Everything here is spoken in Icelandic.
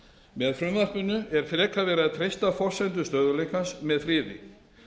með frumvarpinu er frekar verið að treysta forsendur stöðugleikans með friði